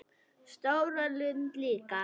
Og stóra lund líka.